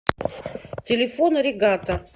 телефон аригато